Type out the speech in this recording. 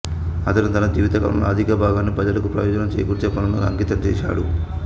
అతను తన జీవితకాలంలో అధిక భాగాన్ని ప్రజలకు ప్రయోజనం చేకూర్చే పనులకు అంకితం చేశాడు